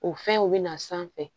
O fɛnw bɛ na sanfɛ